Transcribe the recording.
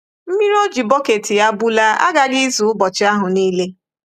Mmiri O ji bọket ya bulaa aghaghị izu ụbọchị ahụ nile.